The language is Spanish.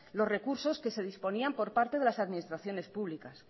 los recursos que se disponían por parte de las administraciones públicas